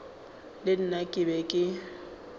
le nna ke be ke